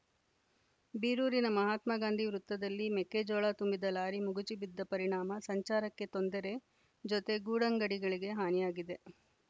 ಬೀರೂರಿನ ಮಹಾತ್ಮಾಗಾಂಧಿ ವೃತ್ತದಲ್ಲಿ ಮೆಕ್ಕೆಜೋಳ ತುಂಬಿದ ಲಾರಿ ಮಗುಚಿಬಿದ್ದ ಪರಿಣಾಮ ಸಂಚಾರಕ್ಕೆ ತೊಂದರೆ ಜೊತೆ ಗೂಡಂಗಡಿಗಳಿಗೆ ಹಾನಿಯಾಗಿದೆ